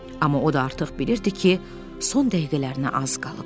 Amma o da artıq bilirdi ki, son dəqiqələrinə az qalıb.